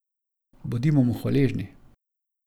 Bodimo mu hvaležni.